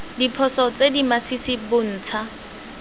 diphoso tse di masisi bontsha